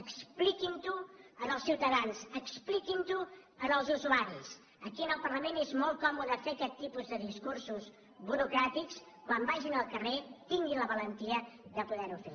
expliquin ho als ciutadans expliquin ho als usuaris aquí en el parlament és molt còmode fer aquest tipus de discursos burocràtics quan vagin al carrer tinguin la valentia de poder ho fer